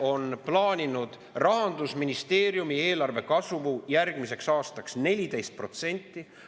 –, on plaaninud Rahandusministeeriumi eelarve kasvu järgmiseks aastaks 14%.